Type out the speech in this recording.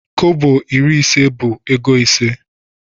Kọbọ iri ise bu ego ise.